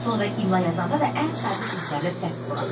Sonra imla yazanda da ən sadə sözlərdə səhv buraxdı.